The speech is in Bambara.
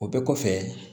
O bɛɛ kɔfɛ